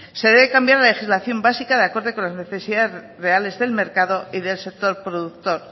se debe cambiar la legislación básica de acorde con las necesidades reales del mercado y del sector productor